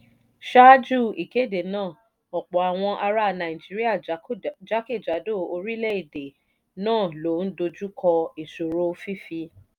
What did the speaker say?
ṣáájú ìkéde náà ọ̀pọ̀ àwọn ará nàìjíríà jákèjádò orílẹ̀-èdè náà ló ń dojú kọ ìṣòro fífi